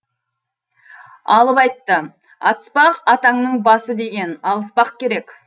алып айтты атыспақ атаңның басы деген алыспақ керек